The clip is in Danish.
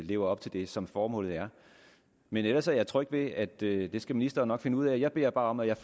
lever op til det som formålet er men ellers er jeg tryg ved at det skal ministeren nok finde ud af jeg beder bare om at jeg